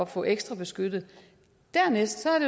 få ekstrabeskyttet dernæst er